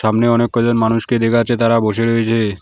সামনে অনেক কজন মানুষকে দেখা যাচ্ছে তারা বসে রয়েছে।